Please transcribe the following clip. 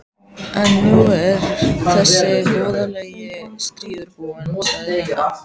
En nú er þessi voðalegi stríður búinn, sagði nunnan.